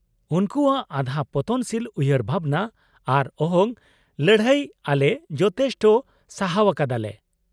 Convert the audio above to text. -ᱩᱱᱠᱩᱣᱟᱜ ᱟᱫᱷᱟ ᱯᱚᱛᱚᱱᱥᱤᱞ ᱩᱭᱦᱟᱹᱨ ᱵᱷᱟᱵᱽᱱᱟ ᱟᱨ ᱚᱦᱚᱝ ᱞᱟᱹᱲᱦᱟᱹᱭ ᱟᱞᱮ ᱡᱚᱛᱷᱮᱥᱴᱚ ᱥᱟᱦᱟᱣ ᱟᱠᱟᱫᱟ ᱞᱮ ᱾